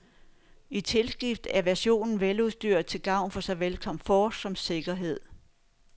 I tilgift er versionen veludstyret til gavn for såvel komfort som sikkerhed.